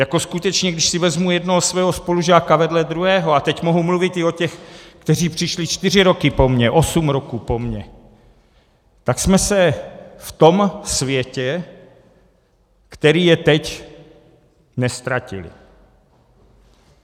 Jako skutečně když si vezmu jednoho svého spolužáka vedle druhého, a teď mohu mluvit i o těch, kteří přišli čtyři roky po mně, osm roků po mně, tak jsme se v tom světě, který je teď, neztratili.